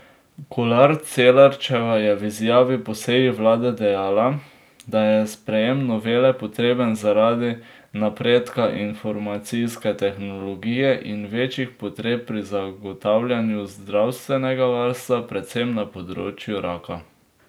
Kolar Celarčeva je v izjavi po seji vlade dejala, da je sprejem novele potreben zaradi napredka informacijske tehnologije in večjih potreb pri zagotavljanju zdravstvenega varstva predvsem na področju raka.